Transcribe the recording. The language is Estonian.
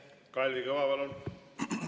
Kalvi Kõva, palun!